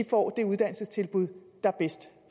får de uddannelsestilbud der er bedst